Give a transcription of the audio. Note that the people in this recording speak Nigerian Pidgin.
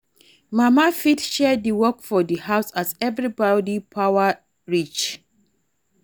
Mama fit share di work for di house as everybody power reach